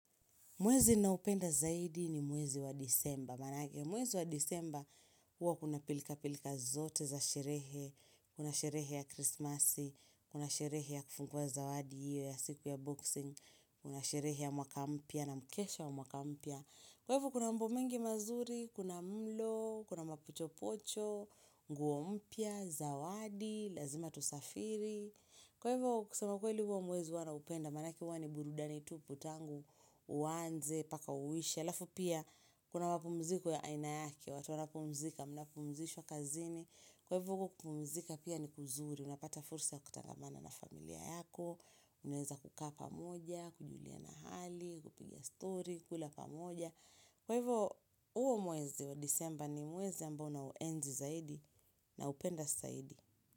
Mwezi ninaoupenda zaidi ni mwezi wa disemba maanake Mwezi wa disemba huwa kuna pilkapilka zote za sherehe. Kuna sherehe ya krismasi. Kuna sherehe ya kufungua zawadi hio ya siku ya boxing. Kuna sherehe ya mwaka mpya na mkesha wa mwaka mpya. Kwa hivyo kuna mambo mengi mazuri, kuna mlo, kuna mapochopocho, nguo mpya, zawadi, lazima tusafiri. Kwa hivo kusema kweli huo mwezi huwa naupenda. Maanake huwa ni burudani tupu tangu uanze, mpaka uishe. Alafu pia, kuna mapumziko ya aina yake, watu wanapumzika, mnapumzishwa kazini. Kwa hivo huko kupumzika pia ni kuzuri, unapata fursa ya kutangamana na familia yako. Unaeza kukaa pamoja, kujuliana hali, kupiga story, kula pamoja. Kwa hivo, huo mwezi wa disemba ni mwezi ambao nauenzi zaidi naupenda zaidi.